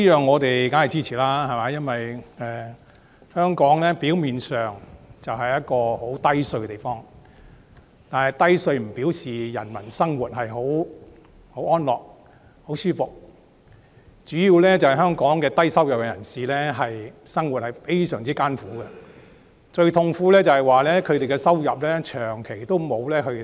我們對此當然是支持的，香港表面上是一個低稅制的地方，但這不表示人民生活安樂舒服，主要因為香港低收入人士的生活非常艱苦，最痛苦的是他們的收入長期沒有增加。